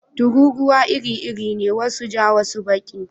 Tururuwa iri-iri ne, wasu ja wasu kuma baki.